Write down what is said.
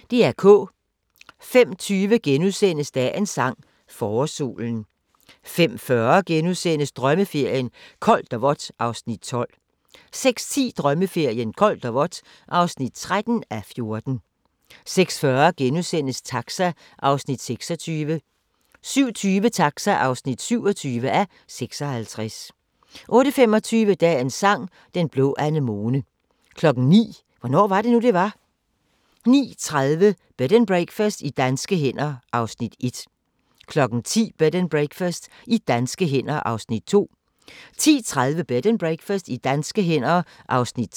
05:20: Dagens sang: Forårssolen * 05:40: Drømmeferien: Koldt og vådt (12:14)* 06:10: Drømmeferien: Koldt og vådt (13:14) 06:40: Taxa (26:56)* 07:20: Taxa (27:56) 08:25: Dagens Sang: Den blå anemone 09:00: Hvornår var det nu, det var? 09:30: Bed and Breakfast i danske hænder (1:4) 10:00: Bed and Breakfast i danske hænder (2:4) 10:30: Bed and Breakfast i danske hænder (3:4)